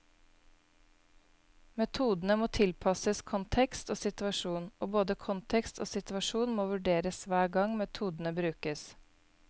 Metodene må tilpasses kontekst og situasjon, og både kontekst og situasjon må vurderes hver gang metodene brukes.